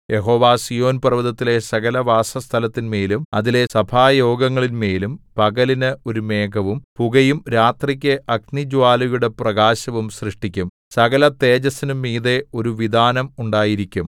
യഹോവ സീയോൻപർവ്വതത്തിലെ സകലവാസസ്ഥലത്തിന്മേലും അതിലെ സഭായോഗങ്ങളിന്മേലും പകലിന് ഒരു മേഘവും പുകയും രാത്രിക്ക് അഗ്നിജ്വാലയുടെ പ്രകാശവും സൃഷ്ടിക്കും സകലതേജസ്സിനും മീതെ ഒരു വിതാനം ഉണ്ടായിരിക്കും